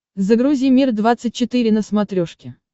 загрузи мир двадцать четыре на смотрешке